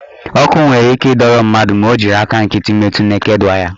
Ọkụ nwere ike ịdọrọ mmadụ ma ọ jiri aka nkịtị metu neked waya.